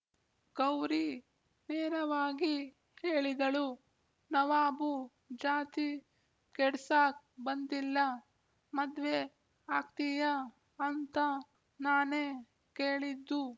ಗೌರಿ ನೇರವಾಗಿ ಹೇಳಿದಳು ನವಾಬು ಜಾತಿ ಕೆಡ್ಸಾಕ್ ಬಂದಿಲ್ಲ ಮದ್ವೆ ಆಗ್ತೀಯ ಅಂತ ನಾನೇ ಕೇಳಿದ್ದು